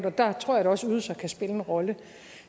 og der tror jeg da også at ydelser kan spille en rolle